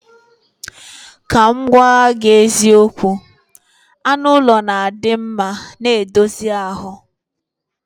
Ka m gwagwagi eziokwu, anu ulo na adimma n edozie ahu.